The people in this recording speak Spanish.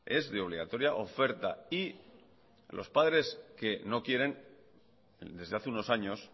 es de obligatoria oferta y los padres que no quieren desde hace unos años